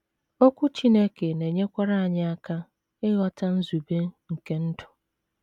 Okwu Chineke na - enyekwara anyị aka ịghọta nzube nke ndụ.